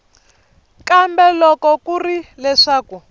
kambe loko ku ri leswaku